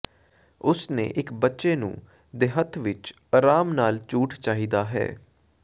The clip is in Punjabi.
ਉਸ ਨੇ ਇੱਕ ਬੱਚੇ ਨੂੰ ਦੇ ਹੱਥ ਵਿੱਚ ਅਰਾਮ ਨਾਲ ਝੂਠ ਚਾਹੀਦਾ ਹੈ